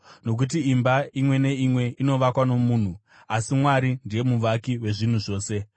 Nokuti imba imwe neimwe inovakwa nomunhu, asi Mwari ndiye muvaki wezvinhu zvose.